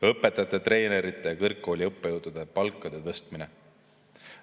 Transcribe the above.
Õpetajate, treenerite ja kõrgkooli õppejõudude palkade tõstmine.